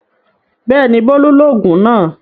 Bẹ́ẹ̀ni Bólú lògùn náà